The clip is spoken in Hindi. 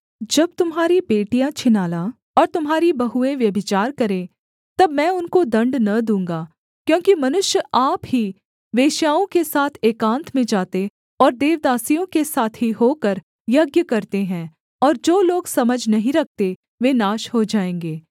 जब तुम्हारी बेटियाँ छिनाला और तुम्हारी बहुएँ व्यभिचार करें तब मैं उनको दण्ड न दूँगा क्योंकि मनुष्य आप ही वेश्याओं के साथ एकान्त में जाते और देवदासियों के साथी होकर यज्ञ करते हैं और जो लोग समझ नहीं रखते वे नाश हो जाएँगे